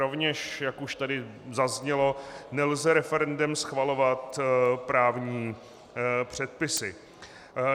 Rovněž, jak už tady zaznělo, nelze referendem schvalovat právní předpisy.